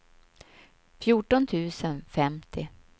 fjorton tusen femtio